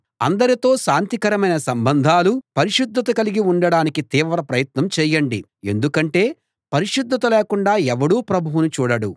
అందరితో శాంతికరమైన సంబంధాలూ పరిశుద్ధతా కలిగి ఉండడానికి తీవ్ర ప్రయత్నం చేయండి ఎందుకంటే పరిశుద్ధత లేకుండా ఎవడూ ప్రభువును చూడడు